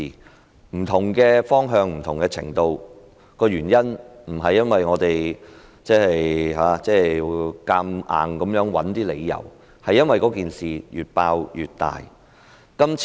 我們提出不同的調查方向和程度，原因不是我們硬要找出一些理由，而是因為事件越"爆"越大。